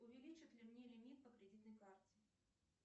увеличат ли мне лимит по кредитной карте